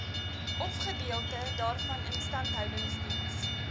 ofgedeelte daarvan instandhoudingsdiens